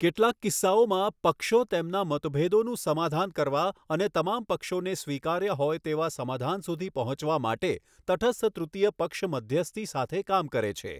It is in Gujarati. કેટલાક કિસ્સાઓમાં, પક્ષો તેમના મતભેદોનું સમાધાન કરવા અને તમામ પક્ષોને સ્વીકાર્ય હોય તેવા સમાધાન સુધી પહોંચવા માટે તટસ્થ તૃતીય પક્ષ મધ્યસ્થી સાથે કામ કરે છે.